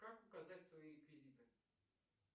как указать свои реквизиты